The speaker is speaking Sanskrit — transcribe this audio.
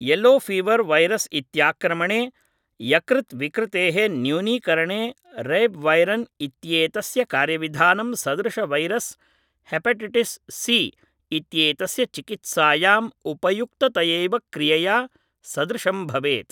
येल्लोफीवर् वैरस् इत्याक्रमणे यकृत् विकृतेः न्यूनीकरणे रैबवैरन् इत्येतस्य कार्यविधानं सदृशवैरस् हेपटिटिस् सि इत्येतस्य चिकित्सायां उपयुक्ततयैव क्रियया सदृशं भवेत्